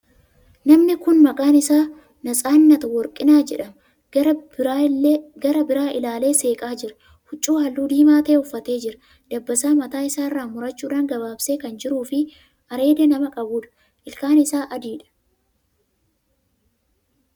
Namni kuni maqaan isaa Natsaannat Worqinaa jedhama. Gara biraa ilaalee seeqaa jira. Huccuu haalluu diimaa ta'e uffatee jira. Dabbasaa mataa isaa murachuun gabaabsee kan jiruu fi areeda nama qabuudha. Ilkaan isaa adiidha.